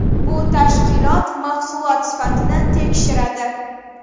Bu tashkilot mahsulot sifatini tekshiradi.